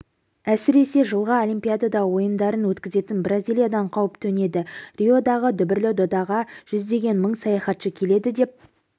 әсіресе жылғы олимпиада ойындарын өткізетін бразилиядан қауіп төнеді риодағы дүбірлі додаға жүздеген мың саяхатшы келеді деп